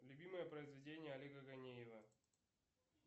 любимое произведение олега ганеева